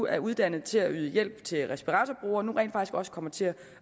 er uddannet til at yde hjælp til respiratorbrugere nu rent faktisk også kommer til